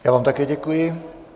Já vám také děkuji.